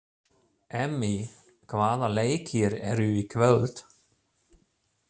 Emmý, hvaða leikir eru í kvöld?